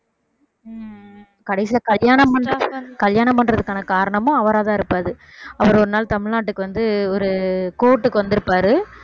கடைசியிலே கல்யாணம் பண்றது~ கல்யாணம் பண்றதுக்கான காரணமும் அவராத்தான் இருப்பாரு அவர் ஒரு நாள் தமிழ்நாட்டுக்கு வந்து ஒரு கோர்ட்டுக்கு வந்திருப்பாரு